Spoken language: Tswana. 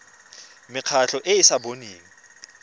mekgatlho e e sa boneng